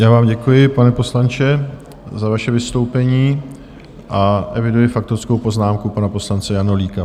Já vám děkuji, pane poslanče, za vaše vystoupení, a eviduji faktickou poznámku pana poslance Janulíka.